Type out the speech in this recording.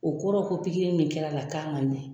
O kɔrɔ ko pikiri min kɛra la k'a man ɲɛ.